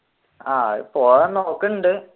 ആഹ് പോവാൻ നോക്കുന്നുണ്ട്